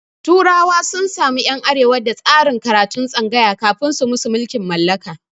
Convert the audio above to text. turawa sun samu ƴan arewa da tsarin karatun tsangaya kafin su musu mulkin mallaka